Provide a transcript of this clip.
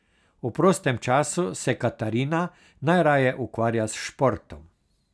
V prostem času se Katarina najraje ukvarja s športom.